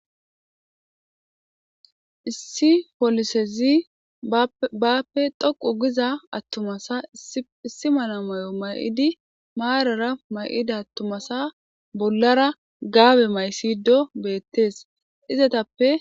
Issi polisezi bappe dhoqu giza attumasa issi mana may7o may7idi maarara may7ida attumasa bollara gaabe maysido beettees izatappe